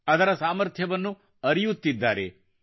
ಅದರ ಸಾಮರ್ಥ್ಯವನ್ನು ಅರಿಯುತ್ತಿದ್ದಾನೆ